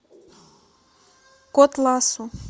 котласу